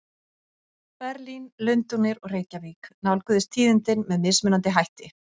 Berlín, Lundúnir og Reykjavík nálguðust tíðindin með mismunandi hætti.